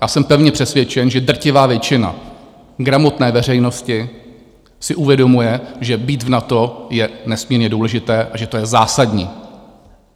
Já jsem pevně přesvědčen, že drtivá většina gramotné veřejnosti si uvědomuje, že být v NATO je nesmírně důležité a že to je zásadní.